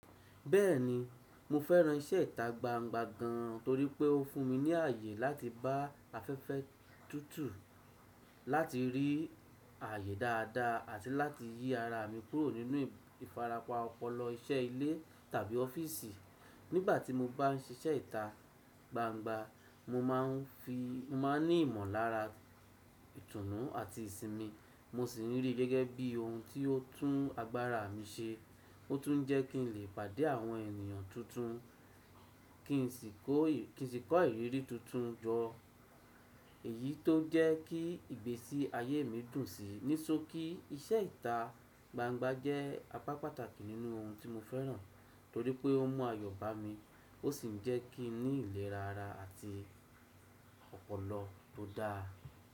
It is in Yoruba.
Bẹ́ẹ̀ni, mo fẹ́ran iṣẹ́ ìta gbangba gan torí pé ó fún mi ní àyè láti ba afẹ́fẹ́ tútù, láti rí àyè dáadáa àti láti yí ara mi kúrò nínú ìfarapa ọpọlọ iṣẹ́ ilé tàbí ọ́fíìsì. Nígbà tí mo bá ń ṣiṣẹ ìta gbangba, mo máa ń fi, mo máa ń ní ìmọ̀lára, ìtùnú àti ìsinmi. Mo sì ń rí i gẹ́gẹ́ bí ohun tí ó tún agbára mi ṣe. Ó tún ń jẹ́ kí n lè pàdé àwọn ènìyàn tuntun, kí n sì kó, kí n sì kọ́ ìrírí tuntun jọ. Èyí tó ń jẹ́ kí ìgbésí ayé mi dùn sí. Ní ṣokí iṣẹ́ ìta gbangba jẹ́ apá pàtàkì nínú ohun tí mo fẹ́ran torí pé ó n mú ayọ̀ bá mi. Ó sì ń jẹ́ kí n ní ìlera ara àti ọpọlọ tó dáa.